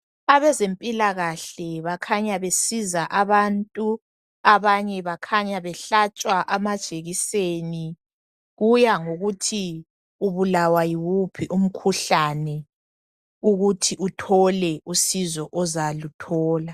Abezempilakahle bakhanya besiza abantu, abanye bakhanya behlatshwa amajekiseni, kuya ngokuthi ubulawa yiwuphi umkhuhlane ukuthi uthole usizo ozaluthola.